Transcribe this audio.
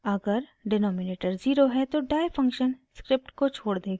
अगर denominator zero है तो die फंक्शन स्क्रिप्ट को छोड़ देगा